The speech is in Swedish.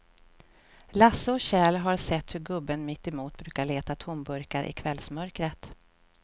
Lasse och Kjell har sett hur gubben mittemot brukar leta tomburkar i kvällsmörkret.